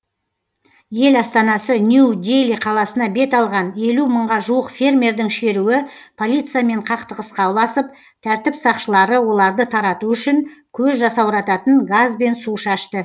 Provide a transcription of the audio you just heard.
ел астанасы нью дели қаласына бет алған елу мыңға жуық фермердің шеруі полициямен қақтығысқа ұласып тәртіп сақшылары оларды тарату үшін көз жасаурататын газ бен су шашты